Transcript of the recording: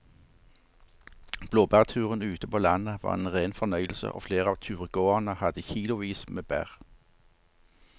Blåbærturen ute på landet var en rein fornøyelse og flere av turgåerene hadde kilosvis med bær.